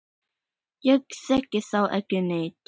Ég þekki þá ekki neitt.